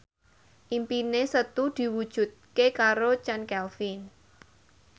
impine Setu diwujudke karo Chand Kelvin